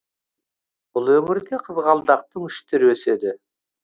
бұл өңірде қызғалдақтың үш түрі өседі